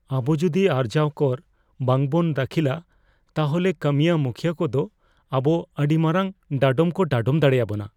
ᱟᱵᱩ ᱡᱩᱫᱤ ᱟᱨᱡᱟᱣ ᱠᱚᱨ ᱵᱟᱝ ᱵᱚᱱ ᱫᱟᱹᱠᱷᱤᱞᱟ, ᱛᱟᱦᱚᱞᱮ ᱠᱟᱹᱢᱤᱭᱟᱹ ᱢᱩᱠᱷᱭᱟᱹ ᱠᱚᱫᱚ ᱟᱵᱚ ᱟᱹᱰᱤ ᱢᱟᱨᱟᱝ ᱰᱟᱰᱚᱢ ᱠᱚ ᱰᱟᱰᱚᱢ ᱫᱟᱲᱮᱭᱟᱵᱚᱱᱟ ᱾